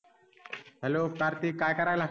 Hello Kartik काय करायला?